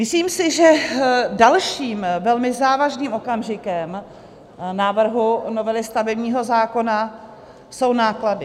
Myslím si, že dalším, velmi závažným okamžikem návrhu novely stavebního zákona jsou náklady.